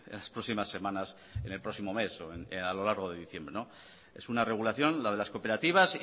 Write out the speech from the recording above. las próximas semanas en el próximo mes o a lo largo de diciembre es una regulación la de las cooperativas